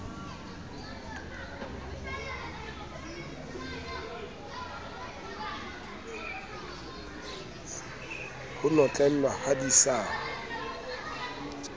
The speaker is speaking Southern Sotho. ho notlellwa ha di sa